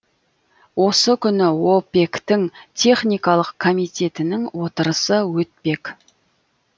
осы күні опек тің техникалық комитетінің отырысы өтпек